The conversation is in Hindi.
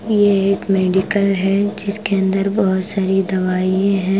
यह एक मेडिकल है जिसके अंदर बहुत सारी दवाइये हैं।